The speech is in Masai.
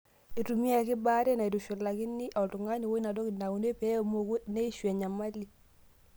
Eitumiyaki baare naitushulakini oltung'ani woinatiki naure pee emoku neishu nyamali.